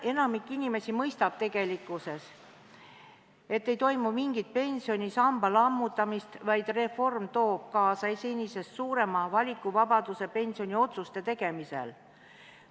Enamik inimesi mõistab tegelikkuses, et ei toimu mingit pensionisamba lammutamist, vaid reform toob kaasa senisest suurema valikuvabaduse pensioniotsuste tegemisel.